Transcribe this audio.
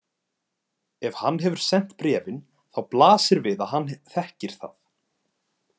Ef hann hefur sent bréfin, þá blasir við að hann þekkir það.